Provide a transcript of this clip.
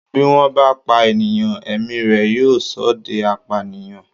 Bí wọ́n bá pa ènìyàn, ẹ̀mí rẹ̀ yóò ṣọdẹ apànìyàn.